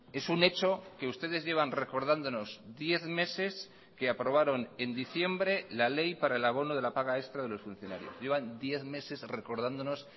es un hecho que ustedes llevan recordándonos diez meses que aprobaron en diciembre la ley para el abono de la paga extra de los funcionarios llevan diez meses recordándonos